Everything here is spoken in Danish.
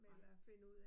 Nej